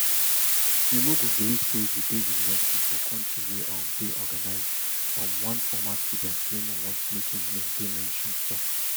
you no go believe say you dey university for kontri wey um dey organised um one former student wey no want make im name dey mentioned tok